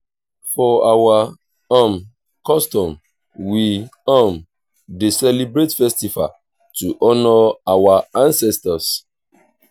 for our um custom we um dey celebrate festival to honour our ancestors.